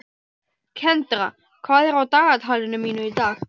Kendra, hvað er á dagatalinu mínu í dag?